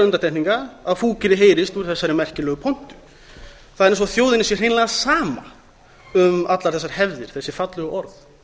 undantekninga að fúkyrði heyrist úr þessari merkilegu pontu það er eins og þjóðinni sé hreinlega sama um allar þessar hefðir þessi fallegu orð